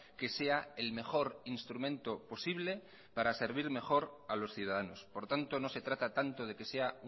que sea el mejor instrumento posible para servir mejor a los ciudadanos por tanto no se trata tanto de que sea